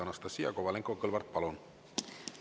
Anastassia Kovalenko-Kõlvart, palun!